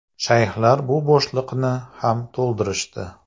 Shayxlar bu bo‘shliqni ham to‘ldirishdi.